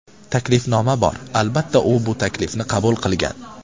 Taklifnoma bor, albatta, u bu taklifni qabul qilgan.